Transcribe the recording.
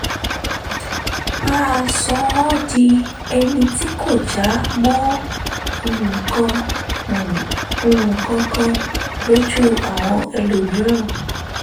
bàa sọ ọ́ di ẹni tí kò já mọ́ nǹkan um kan lójú àwọn ẹlòmíràn